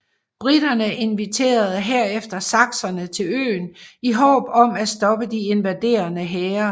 Briterne inviterede herefter sakserne til øen i håb om at stoppe de invaderende hære